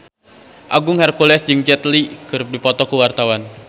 Agung Hercules jeung Jet Li keur dipoto ku wartawan